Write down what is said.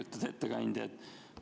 Lugupeetud ettekandja!